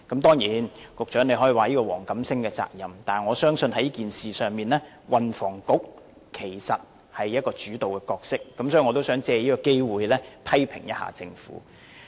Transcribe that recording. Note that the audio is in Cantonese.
當然，局長可以說這是黃錦星的責任，但在此事上，我相信是運輸及房屋局作主導，因此我想藉此機會，批評一下政府。